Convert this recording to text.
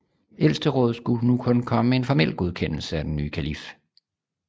Ældsterådet skulle nu kun komme med en formel godkendelse af den nye kalif